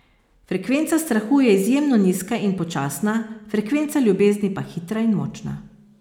Frekvenca strahu je izjemno nizka in počasna, frekvenca ljubezni pa hitra in močna.